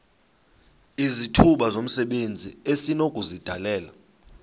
izithuba zomsebenzi esinokuzidalela